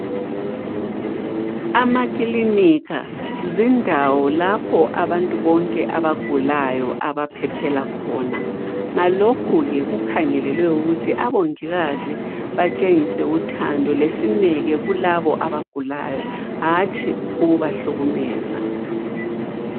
Amaklinika zindawo lapho abantu bonke abagulayo abaphephela khona, ngalokho ke kukhangelelwe ukuthi abongikazi batshengise uthando lesineke kulabo abagulayo hatshi ukubahlukumeza.